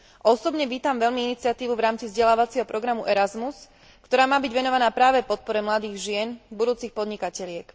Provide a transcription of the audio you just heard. Osobne vítam veľmi iniciatívu v rámci vzdelávacieho programu Erazmus, ktorá má byť venovaná práve podpore mladých žien budúcich podnikateliek.